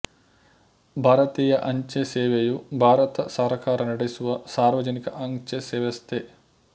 ಭಾರತೀಯ ಅಂಚೆ ಸೇವೆಯು ಭಾರತ ಸರಕಾರ ನಡೆಸುವ ಸಾರ್ವಜನಿಕ ಅಂಚೆ ವ್ಯವಸ್ಥೆ